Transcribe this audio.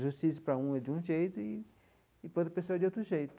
A justiça para um é de um jeito e para outra pessoa é de outro jeito.